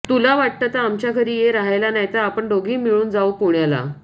तुला वाटलं तर आमच्या घरी ये राहायला नाहीतर आपण दोघी मिळून जाऊ पुण्याला